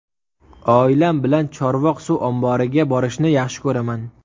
Oilam bilan Chorvoq suv omboriga borishni yaxshi ko‘raman.